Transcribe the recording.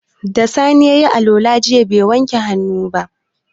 Da sani yayi alwala jiya bai wanke hannu ba